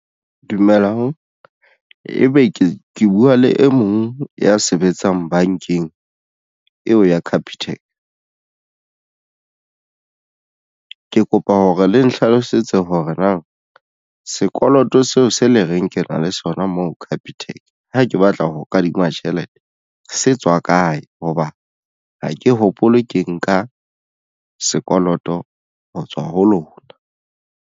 Dumelang ebe ke buwa le e mong ya sebetsang bankeng eo ya Capitec . Ke kopa hore le nhlalosetse hore na sekoloto seo se le reng ke na le sona moo Capitec ha ke batla ho kadima tjhelete se tswa kae hoba ha ke hopole ke nka sekoloto ho tswa ho lona?